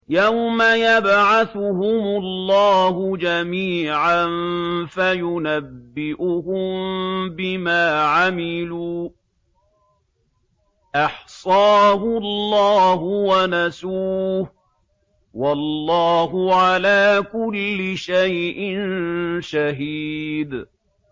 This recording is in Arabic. يَوْمَ يَبْعَثُهُمُ اللَّهُ جَمِيعًا فَيُنَبِّئُهُم بِمَا عَمِلُوا ۚ أَحْصَاهُ اللَّهُ وَنَسُوهُ ۚ وَاللَّهُ عَلَىٰ كُلِّ شَيْءٍ شَهِيدٌ